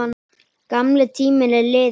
Gamli tíminn er liðinn.